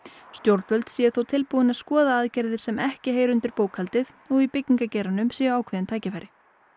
stjórnvöld séu þó tilbúin að skoða aðgerðir sem ekki heyra undir bókhaldið og í byggingageiranum séu ákveðin tækifæri